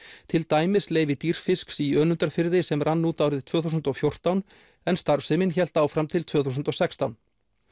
til dæmis leyfi Dýrfisks í Önundarfirði sem rann út árið tvö þúsund og fjórtán en starfsemin hélt áfram til tvö þúsund og sextán